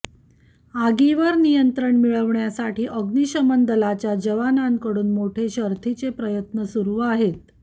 आगीवर नियंत्रण मिळवण्यासाठी अग्निशमन दलाच्या जवानांकडून मोठे शर्थीचे प्रयत्न सुरु आहेत